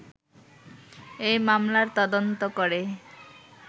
এই মামলার তদন্ত করে